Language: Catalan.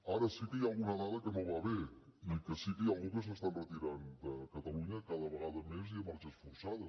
ara sí que hi ha alguna dada que no va bé i sí que hi ha algú que s’està enretirant de catalunya cada vegada més i a marxes forçades